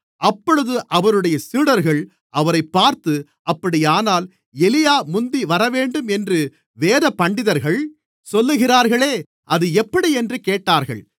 அப்பொழுது அவருடைய சீடர்கள் அவரைப் பார்த்து அப்படியானால் எலியா முந்தி வரவேண்டும் என்று வேதபண்டிதர்கள் சொல்லுகிறார்களே அது எப்படியென்று கேட்டார்கள்